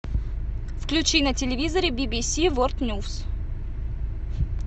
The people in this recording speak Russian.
включи на телевизоре бибиси ворлд ньюс